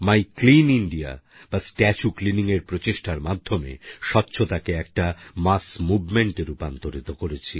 মাই clean India বা statue cleaningর প্রচেষ্টার মাধ্যমে স্বচ্ছতাকে একটা মাস মুভমেন্টে রূপান্তরিত করেছি